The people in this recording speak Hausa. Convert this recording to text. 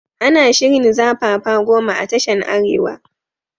Ana shirin zafafa goma a tashan arewa